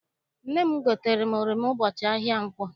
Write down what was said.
Nne m gotere oroma ụbọchị ahịa nkwọ.